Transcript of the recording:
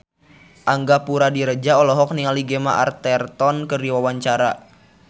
Angga Puradiredja olohok ningali Gemma Arterton keur diwawancara